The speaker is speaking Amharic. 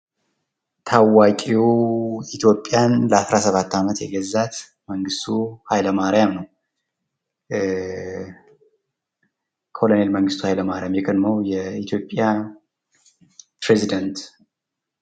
ታዋቂው ኢትዮጵያን ለ17 ዓመት የገዛት መንግስቱ ኃይለማርያም ነው። ኮነሬል መንግስቱ ኃይለማርያም የቀድሞ የኢትዮጵያ ፕሬዚዳንት